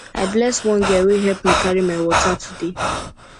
i bless one girl wey help me carry my water today